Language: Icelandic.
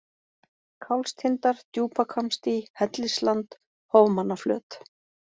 Kálfstindar, Djúpahvammsdý, Hellisland, Hofmannaflöt